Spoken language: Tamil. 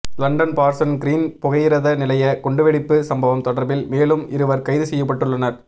லண்டன் பார்சன் கிறீன் புகையிரத நிலைய குண்டுவெடிப்பு சம்பவம் தொடர்பில் மேலும் இருவர் கைது செய்யப்பட்டுள்ளனர்